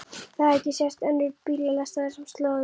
Það hafði ekki sést önnur eins bílalest á þessum slóðum.